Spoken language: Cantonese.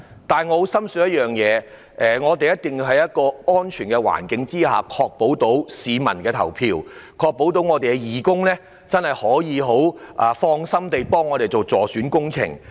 不過，我深信選舉一定要在安全的環境下進行，以確保市民可以放心投票，而我們的義工也可以放心助選。